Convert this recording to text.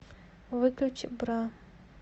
выключи бра